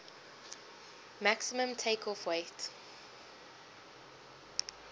maximum takeoff weight